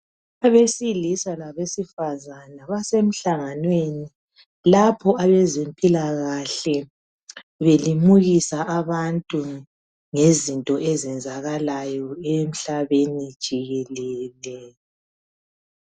Abesilisa labesifazana basemhlanganweni. Lapho abezempilakahle belimukisa abantu ngezinto ezenzakalayo emhlabeni jikelele.